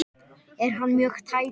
Er hann mjög tæpur?